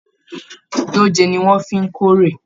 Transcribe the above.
Dòjé ní wọn fí n k'ore.